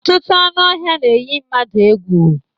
Ọtụtụ anụ ọhia n'eyi mmadu egwu